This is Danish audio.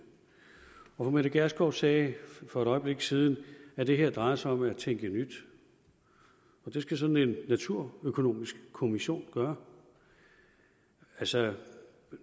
og fru mette gjerskov sagde for et øjeblik siden at det her drejer sig om at tænke nyt og det skal sådan en naturøkonomisk kommission gøre altså